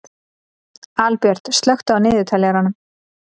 Albjört, slökktu á niðurteljaranum.